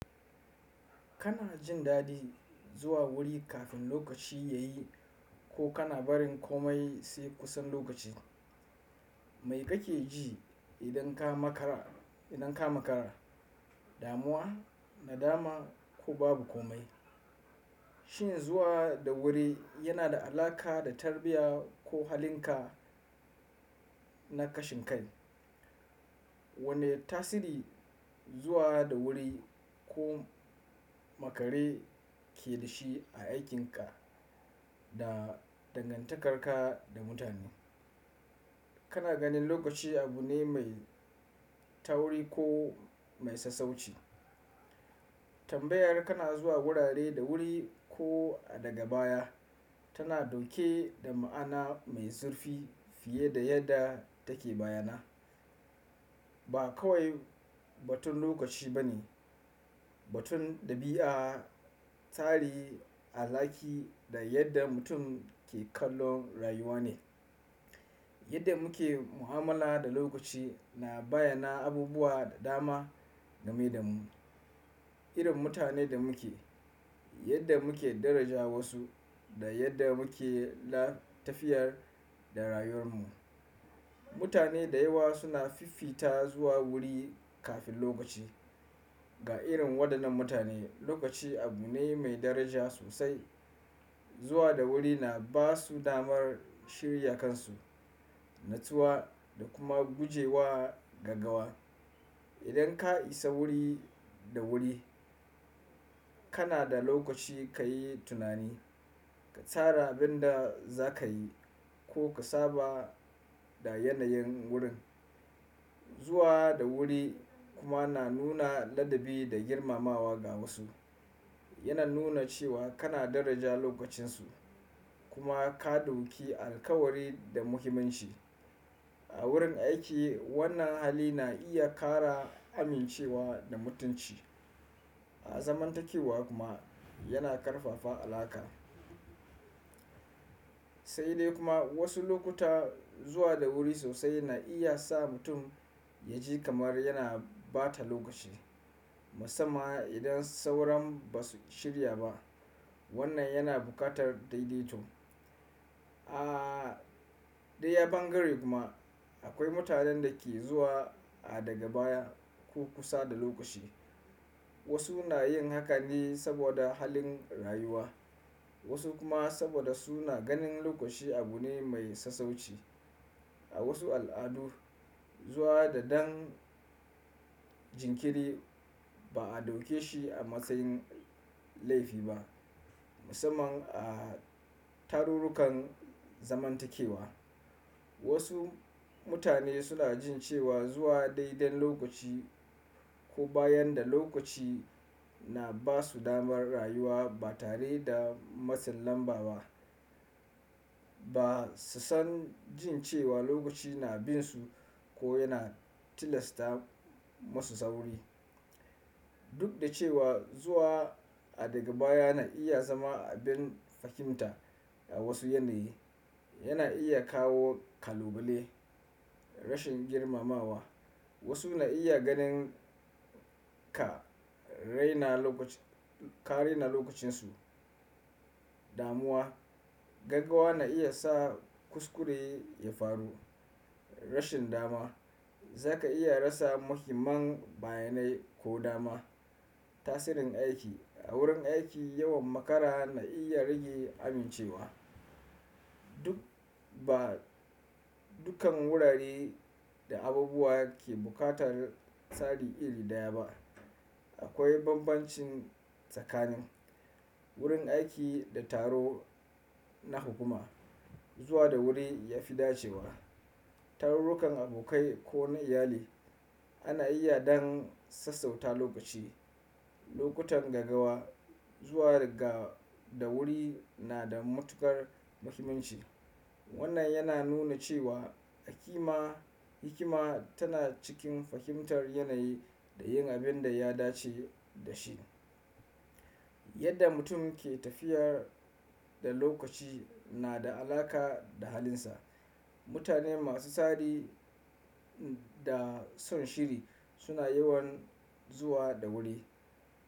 Kana jin dadi zuwa wuri kafin lokaci ya yi ko kana barin komai sai kusan lokaci? Mai kake ji idan ka makara? Idan ka makara, damuwa, nadama ko babu komai? Shin zuwa da wuri yana da alaƙa da tarbiya ko halinka na kashin kai? Wane tasiri zuwa da wuri, ko makare ke da shi a aikin ka, da dangantakar ka da mutane? Kana ganin lokaci abu ne mai tauri ko mai sassauci? Tambayar kana zuwa wurare da wuri ko a daga baya, tana dauke da ma'ana mai zurfi fiye da yadda take bayyana. Ba kawai batun lokaci ba ne, batun ɗabi'a, tarihi, al'haki, da yadda mutum ke kallon rayuwa ne. Yadda muke mu'amala da lokaci na bayyana abubuwa da dama game da mu, irin mutanen da muke, yadda muke daraja wasu da yadda muke tafiyar da rayuwar mu. Mutane da yawa suna fifita zuwa wuri kafin lokaci. Ga irin waɗannan mutane, lokaci abu ne mai daraja sosai. Zuwa da wuri na ba su damar shirya kansu, nutsuwa da kuma guje wa gaggawa. Idan ka isa wuri da wuri, kana da lokaci ka yi tunani, ka tsara abin da za ka yi ko ka saba da yanayin wurin. Zuwa da wuri kuma na nuna ladabi da girmamawa ga wasu. Yana nuna cewa kana daraja lokacinsu, kuma ka ɗauki alkawari da muhimmanshi. A wurin aiki, wannan hali na iya ƙara amincewa da mutunci. A zamantakewa kuma yana ƙarfafa alaƙa. Sai dai kuma wasu lokuta, zuwa da wuri sosai na iya sa mutum ya ji kamar yana ba ta lokaci. Musamman idan sauran ba su shirya ba. Wannan yana buƙatar daidaito. A dayan bangaren kuma, akwai mutanen da ke zuwa a daga baya ko kusa da lokaci. Wasu na yin haka ne saboda halin rayuwa, wasu kuma saboda suna ganin lokaci abu ne mai sassauci. A wasu al'adu, zuwa da dan jinkiri ba a ɗauke shi a matsayin laifi ba. Musamman a tarurrukan zamantakewa. Wasu mutane suna jin cewa zuwa daidan lokaci ko bayan da lokaci na ba su damar rayuwa ba tare da matsin lambar ba. Ba su san jin cewa lokaci na binsu ko yana tilasta musu sauri. Duk da cewa zuwa a daga baya na iya zama abin fahimta a wasu yanayi, yana iya kawo kalubale. Rashin girmamawa wasu na iya ganin ka raina lokacin, ka raina lokacinsu. Damuwa, gaggawa na iya sa kuskure ya faru. Rashin dama, zaka iya rasa muhimman bayanai ko dama. Tasirin aiki a wurin aiki yawan makara na iya rage amincewa. Duk ba dukkan wurare da abubuwa ke buƙatar tsari iri daya ba. Akwai banbanci tsakanin wurin aiki da taro na hukuma. Zuwa da wuri ya fi dacewa. Tarurrukan abokai ko na iyali, ana iya dan sassauta lokaci. Lokutan gaggawa, zuwa ga da wuri na da matukar muhimmanci. Wannan yana nuna cewa hikima, hikima tana cikin fahimtar yanayi da yin abin da ya dace da shi. Yadda mutum ke tafiyar da lokaci na da alaƙa da halinsa. Mutane masu tsari da son shiri suna yawan zuwa da wuri.